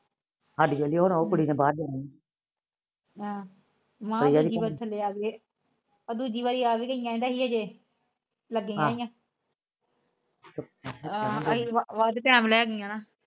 ਸਾਡੀ ਉਹ ਕੁੜੀ ਨੇ ਬਾਹਰ ਜਾਣਾ